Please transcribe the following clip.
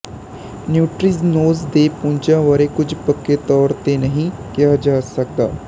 neutrinos ਦੇ ਪੁੰਜਾਂ ਬਾਰੇ ਕੁੱਝ ਪੱਕੇ ਤੌਰ ਤੇ ਨਹੀਂ ਕਿਹਾ ਜਾ ਸਕਦਾ